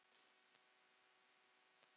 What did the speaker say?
Og venjan er á milli.